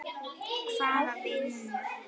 Hvaða vinnu?